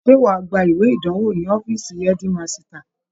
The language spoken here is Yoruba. Ṣé wàá gba ìwé ìdánwò ní ọfíìsì ẹ́dímasità